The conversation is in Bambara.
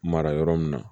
Mara yɔrɔ min na